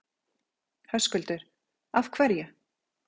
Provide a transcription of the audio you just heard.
Höskuldur: Af hverju?